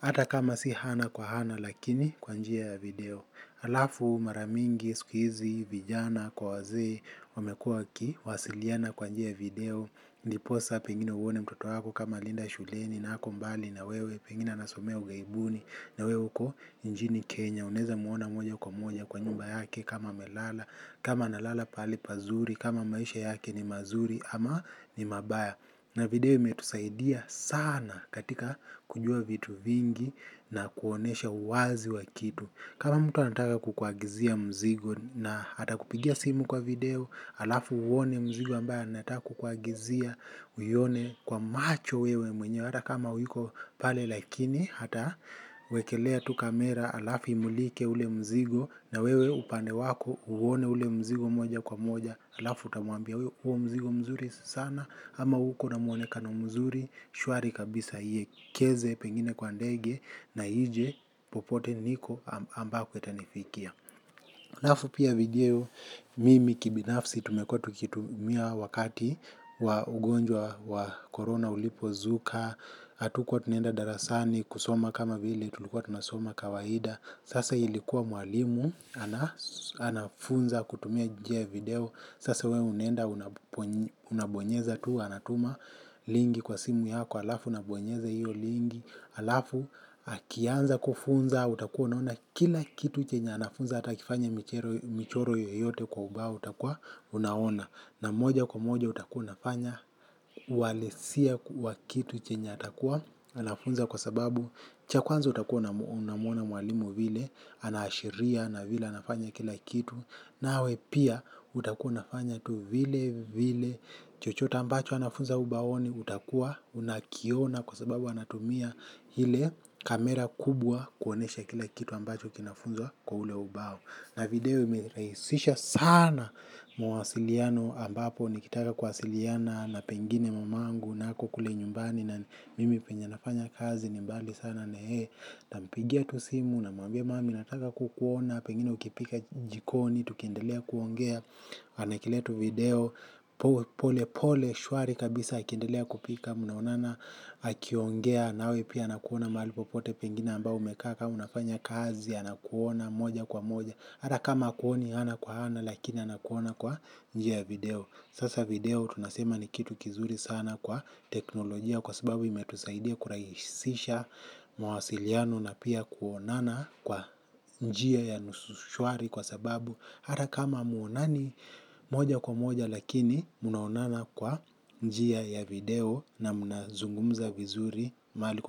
Hata kama si ana kwa ana, lakini kwa njia ya video. Halafu mara mingi, siku hizi vijana kwa wazee, wamekuwa wakiwasiliana kwa njia ya video ndiposa pengine uone mtoto wako, kama alienda shuleni na ako mbali na wewe. Pengine anasomea ughaibuni na wewe uko mjini Kenya. Unaweza muona moja kwa moja kwa nyumba yake kama amelala. Kama analala pahali pazuri? Kama maisha yake ni mazuri ama ni mabaya? Na video imetusaidia sana katika kujua vitu vingi. Na kuonyesha uwazi wa kitu. Kama mtu anataka kukuagizia mzigo atakupigia simu kwa video, halafu uone mzigo ambayo anataka kukuagizia. Uione kwa macho wewe mwenyewe hata kama huyuko pale lakini atawekelea tu kamera halafu imulike ule mzigo, na wewe upande wako uone ule mzigo moja kwa moja. Halafu utamwambia; huo mzigo mzuri sana, ama uko na muonekano mzuri, shwari kabisa. Aiwekeze pengine kwa ndege na ije popote niko ambako itanifikia. Halafu pia video mimi kibinafsi tumekuwa tukitumia wakati wa ugonjwa wa korona ulipozuka. Hatukuwa tunaenda darasani kusoma kama vile tulikuwa tunasoma kawaida, sasa ilikuwa mwalimu anafunza kutumia njia ya video. Sase wewe unaenda, unabonyeza tu, anatuma link kwa simu yako, halafu, unabonyeza hio link, halafu, akianza kufunza, utakuwa unaona kila kitu chenye, anafunza, hata akifanya michoro yoyote kwa ubao, utakuwa, unaona. Na moja kwa moja utakuwa unafanya uhalisia wa kitu chenye atakuwa anafunza kwa sababu cha kwanza utakuwa unamuona mwalimu vile, anaashiria na vile anafanya kila kitu. Nawe pia utakuwa unafanya tu vile vile. Chochote ambacho anafunza ubaoni utakuwa unakiona kwa sababu anatumia ile kamera kubwa kuonyesha kila kitu ambacho kinafunzwa kwa ule ubao. Na video imerahisisha sana mwasiliano, ambapo nikitaka kwasiliana na pengine mamangu na ako kule nyumbani. Na mimi penye nafanya kazi ni mbali sana na yeye, nitampigia tu simu na mwambia mama nataka kukuona, pengine ukipika jikoni, tukiendelea kuongea, anawekelea tu video, pole pole, shwari kabisa, akiendelea kupika mnaonana, akiongea nawe pia anakuona mahali popote pengine ambao umekaa, kama unafanya kazi anakuona moja kwa moja, hata kama hakuoni ana kwa ana lakini anakuona kwa njia ya video. Sasa video tunasema ni kitu kizuri sana kwa teknolojia. Kwa sababu imetusaidia kurahisisha mawasiliano na pia kuonana. Kwa njia ya nusushwari kwa sababu hata kama hamuonani moja kwa moja, lakini mnaonana kwa njia ya video, na mnazungumza vizuri mahali.